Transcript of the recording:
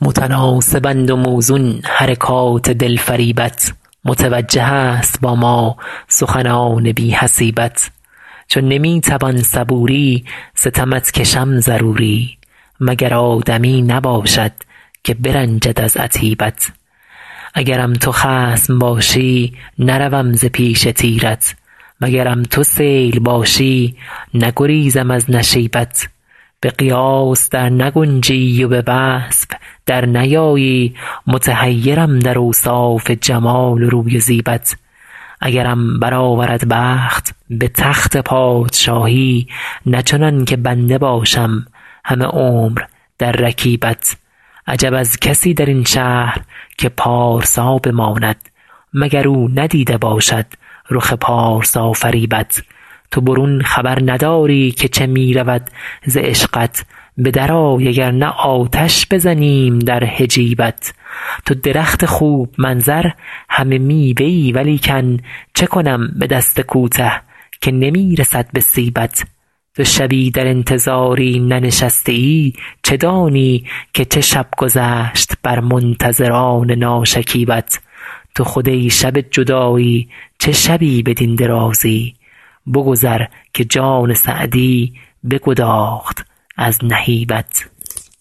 متناسبند و موزون حرکات دلفریبت متوجه است با ما سخنان بی حسیبت چو نمی توان صبوری ستمت کشم ضروری مگر آدمی نباشد که برنجد از عتیبت اگرم تو خصم باشی نروم ز پیش تیرت وگرم تو سیل باشی نگریزم از نشیبت به قیاس در نگنجی و به وصف در نیایی متحیرم در اوصاف جمال و روی و زیبت اگرم برآورد بخت به تخت پادشاهی نه چنان که بنده باشم همه عمر در رکیبت عجب از کسی در این شهر که پارسا بماند مگر او ندیده باشد رخ پارسافریبت تو برون خبر نداری که چه می رود ز عشقت به درآی اگر نه آتش بزنیم در حجیبت تو درخت خوب منظر همه میوه ای ولیکن چه کنم به دست کوته که نمی رسد به سیبت تو شبی در انتظاری ننشسته ای چه دانی که چه شب گذشت بر منتظران ناشکیبت تو خود ای شب جدایی چه شبی بدین درازی بگذر که جان سعدی بگداخت از نهیبت